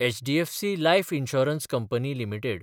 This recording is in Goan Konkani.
HDFC life insurance company limited